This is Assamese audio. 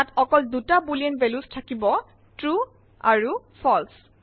তাত অকল ২টা বুলিন ভেলিউচ থাকিব ট্ৰু আৰু ফালছে